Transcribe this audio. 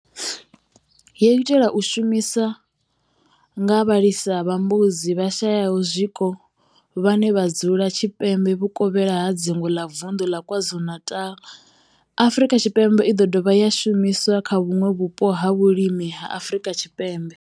Yo itelwa u shumiswa nga vhalisa vha mbudzi vhashayaho zwiko vhane vha dzula tshipembe vhuvokhela ha dzingu ḽa vundu ḽa KwaZulu-Natal, Afrika Tshipembe i do dovha ya shumiswa kha vhuṋwe vhupo ha vhulimi ha Afrika Tshipembe.